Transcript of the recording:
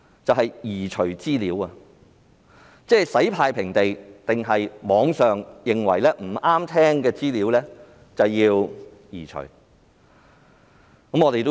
刪除資料好像洗"太平地"一樣，他們或會認為某些網上資料不中聽有需要移除。